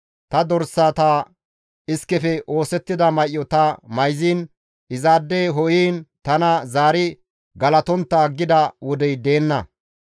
ta dorsata iskefe oosettida may7o ta mayziin, izaade ho7iin tana zaari galatontta aggida wodey deenna.